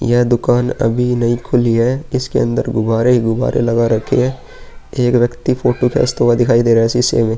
यह दुकान अभी नयी खुली है। इसके अंदर गुब्बारे ही गुब्बारे लगा रखे हैं। एक व्यक्ति फोटो खींचते हुए दिखाए दे रहे है शीशे में।